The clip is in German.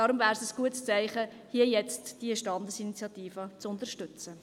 Deshalb wäre es ein gutes Zeichen, hier und jetzt diese Standesinitiative zu unterstützen.